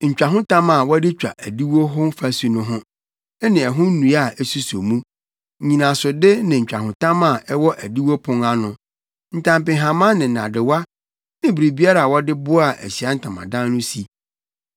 ntwahotam a wɔde twa adiwo hɔ fasu ho, ne ɛho nnua a esuso mu, nnyinasode ne ntwahotam a ɛwɔ adiwo pon ano, ntampehama ne nnadewa ne biribiara a wɔde boaa Ahyiae Ntamadan no si.